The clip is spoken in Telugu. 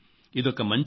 ఇదొక మంచి అవకాశం